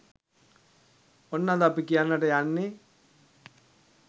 ඔන්න අද අපි කියන්නට යන්නේ